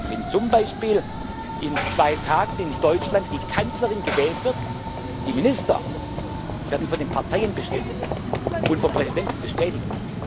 Wenn zum Beispiel in zwei Tagen in Deutschland die Kanzlerin gewählt wird die Minister werden von den Parteien bestimmt und vom Präsidenten bestätigt.